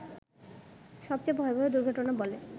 সবচেয়ে ভয়াবহ দুর্ঘটনা বলে